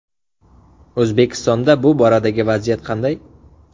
O‘zbekistonda bu boradagi vaziyat qanday?.